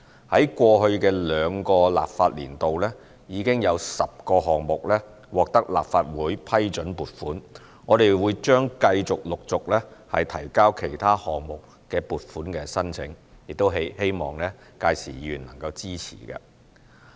在過去的兩個立法年度，已有10個項目獲得立法會批准撥款，我們將繼續、陸續提交其他項目的撥款申請，亦希望屆時議員能夠支持。